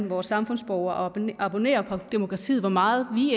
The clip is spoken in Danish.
vores samfundsborgere at abonnere på demokratiet hvor meget vi